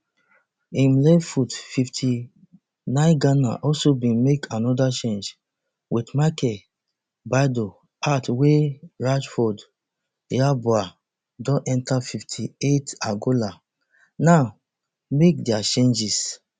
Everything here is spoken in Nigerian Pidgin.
im left foot fifty-nineghana also bin make anoda change wit michael baidoo out wey ransford yeboah don enta fifty-eightangola now make dia changes